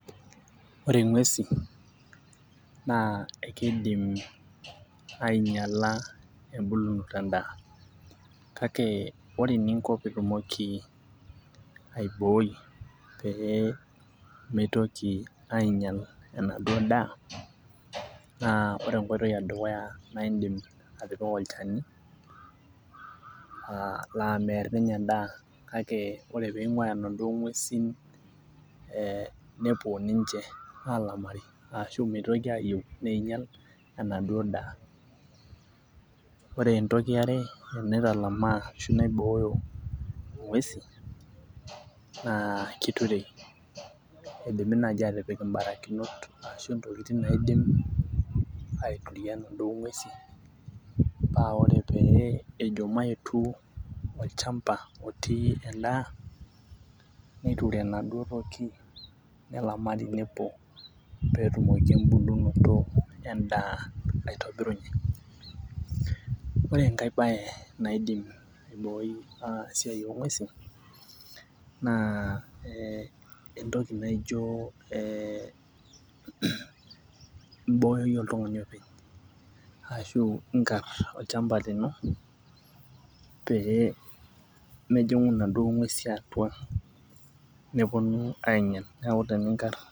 ore ng'uesin naa ekidim aing'iala tebulunoto edaa, kake ore eninko pee itumoki aibooi pee mitoki aing'ial enaduoo daa. naa ore enkoitoi edukuya idim atipika olchani laaa meer ninye edaa, kake ore pee ing'uaya inaduoo duo ng'uesin nepuo ninche aalamari aashu meitoki aayieu nieng'iel enaduoo daa. ore entoki are naitalamaa ashu naibooyo ng'uesin naa kiturei, keidimi naaji aatipik ibarakinot, ashu ntokitin naidim aituria inaduoo ng'uesin paa ore ejo mayetu olchampa otii edaa, neiture inaduoo toki nelaari nepuo pee etumoki ebulunoto, edaa aitobirunye. ore enkae bae, naidim aibooi esiai oo ng'uesin naa ee entoki naijo ee ibooyo iyie oltungani openy. ashu inkar olchampa lino pee mepuonu inaduoo nguesin aager. neku teninkar.